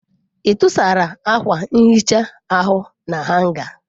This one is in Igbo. Ị tụsara akwa nhicha ahụ na hanga?